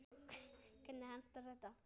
Hvernig endar þetta?